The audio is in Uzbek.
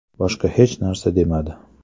Boshqa hech narsa demadi.